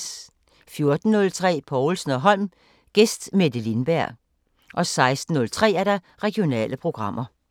14:03: Povlsen & Holm: Gæst Mette lindberg 16:03: Regionale programmer